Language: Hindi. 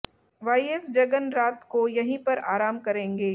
वाईएस जगन रात को यहीं पर आराम करेंगे